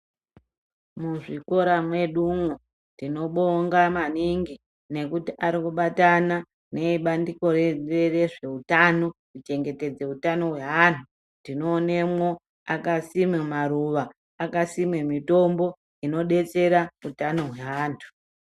Muzvikora mwedumwo tinobonga maningi nekuti arikubatana neebandiko rezveutano kuchengetedze hutano hweantu . Tinoonemwo akasime maruwa akasime mitombo inodetsera utano hweantu.